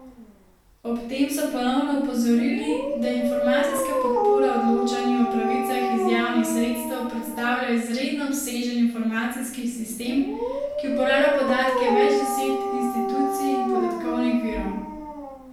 Ob tem so ponovno opozorili, da informacijska podpora odločanju o pravicah iz javnih sredstev predstavlja izredno obsežen informacijski sistem, ki uporablja podatke več deset institucij in podatkovnih virov.